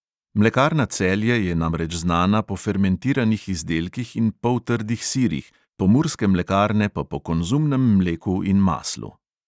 Mlekarna celje je namreč znana po fermentiranih izdelkih in poltrdih sirih, pomurske mlekarne pa po konzumnem mleku in maslu.